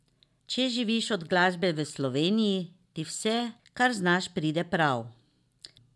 Če živiš od glasbe v Sloveniji, ti vse, kar znaš, pride prav.